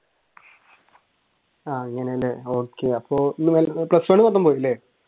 ആഹ് അങ്ങനെയല്ലേ okay അപ്പൊ plus one മൊത്തം പോയല്ലേ?